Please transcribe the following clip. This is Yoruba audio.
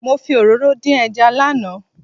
Mo fi òróró dín ẹja lánàá.